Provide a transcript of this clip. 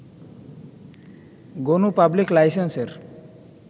Gonu public লাইসেন্সের